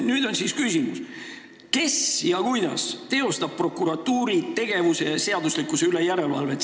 Nüüd on küsimus: kes ja kuidas teostab prokuratuuri tegevuse ja seaduslikkuse üle järelevalvet?